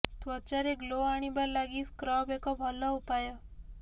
ତ୍ୱଚାରେ ଗ୍ଲୋ ଆଣିବା ଲାଗି ସ୍କ୍ରବ୍ ଏକ ଭଲ ଉପାୟ